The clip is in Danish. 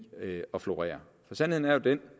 at florere for sandheden er jo den